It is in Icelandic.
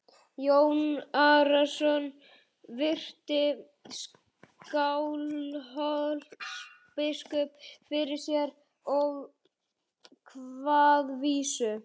Jón Arason virti Skálholtsbiskup fyrir sér og kvað vísu